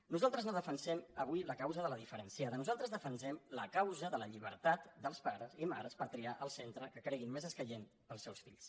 nosaltres no defensem avui la causa de la diferenciada nosaltres defensem la causa de la llibertat dels pares i mares per triar el centre que creguin més escaient per als seus fills